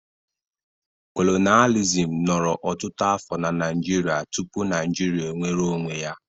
Kolonịalizim nọrọ ọtụtụ afọ na Naịjirịa tupu Naịjirịa enwere onwe ya.